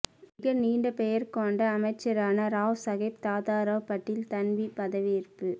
மிக நீண்ட பெயர் கொண்ட அமைச்சரான ராவ் சாகேப் தாதாராவ் பாட்டில் தன்வீ பதவியேற்பு